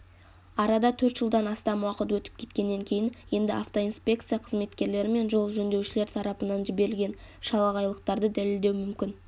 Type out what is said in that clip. арада төрт жылдан астам уақыт өтіп кеткеннен кейін енді автоинспекция қызметкерлерімен жол жөндеушілер тарапынан жіберілген шалағайлықтарды дәлелдеу мүмкін